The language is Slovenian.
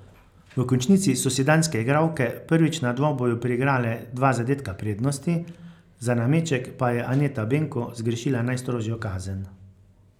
V končnici so si danske igralke prvič na dvoboju priigrale dva zadetka prednosti, za nameček pa je Aneta Benko zgrešila najstrožjo kazen.